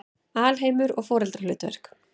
Alheimur og foreldrahlutverk